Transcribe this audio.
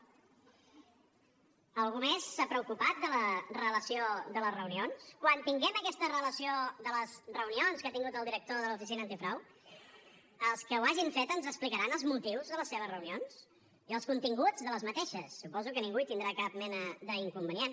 algú més s’ha preocupat de la relació de les reunions quan tinguem aquesta relació de les reunions que ha tingut el director de l’oficina antifrau els que ho hagin fet ens explicaran els motius de les seves reunions i els continguts d’aquestes suposo que ningú hi tindrà cap mena d’inconvenient